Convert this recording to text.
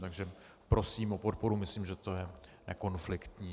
Takže prosím o podporu, myslím, že to je nekonfliktní.